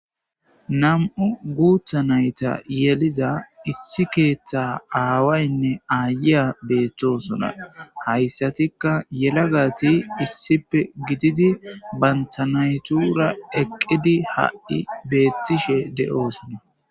Nam'u guutha nayta yeliza issi keeththa aawaynne aayeya beettosona hayssatikka yelagati issipe gididi bantanaytura eqqidi hadhi beettishe de7oosonna